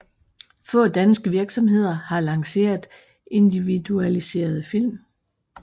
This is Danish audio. Få danske virksomheder har lanceret individualiserede film